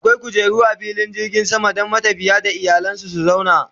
akwai kujeru a filin jirgin sama Dan matafiya da iyalansu su zauna